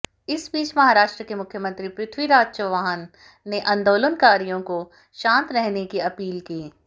इस बीच महाराष्ट्र के मुख्यमंत्री पृथ्वीराज चव्हाण ने आंदोलनकारियों को शांत रहने की अपील की